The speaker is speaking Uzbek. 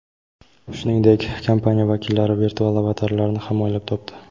Shuningdek, kompaniya vakillari virtual avatarlarni ham o‘ylab topdi.